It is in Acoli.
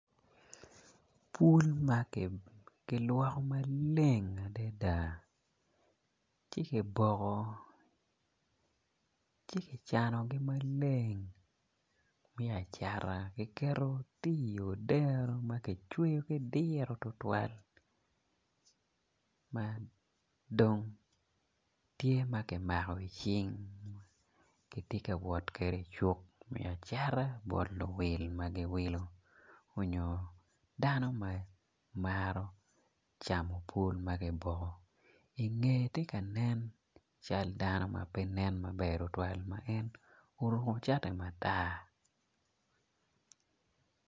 Pul makilwoko maleng adada ci ki boko ci kicanogi maleng me acata kiketo ki odero makicweo ki diro tutwal madong tye makimako gicing kitye kawot kede icuk me acata bot luwil magiwilo onyo dano ma maro camo pul makiboko i nge tye ka nen cal dano mape nen maber tutuwal ma en oruko cati matar.